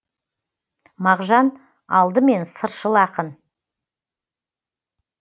мағжан алдымен сыршыл ақын